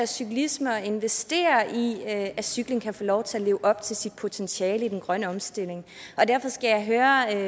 cyklisme og investere i at cykling kan få lov til at leve op til sit potentiale i den grønne omstilling derfor skal jeg høre